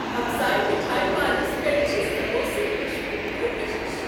ہمسایہ مٹھایہ وانس پیٹھ چھِ ِ سموسُک خوشبوُ پُر کشش ۔